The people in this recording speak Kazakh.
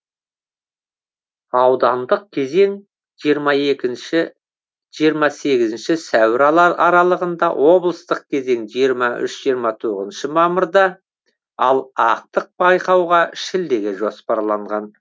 аудандық кезең жиырма екінші жиырма сегізінші сәуір аралығында облыстық кезең жиырма үш жиырма тоғызыншы мамырда ал ақтық байқау шілдеге жоспарланған